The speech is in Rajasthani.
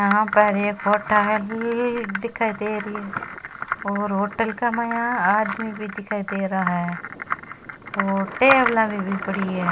यहाँ पर एक होटल ल दिखाई दे री है और होटल के माय आदमी भी दिखाई दे रहा है और टेबला भी पड़ी है।